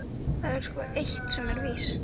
Það er sko eitt sem er víst.